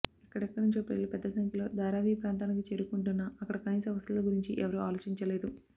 ఎక్కడెక్కడి నుంచో ప్రజలు పెద్ద సంఖ్యలో ధారావీ ప్రాంతానికి చేరుకుంటున్నా అక్కడ కనీస వసతుల గురించి ఎవరూ ఆలోచించలేదు